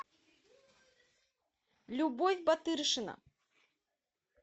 любовь батыршина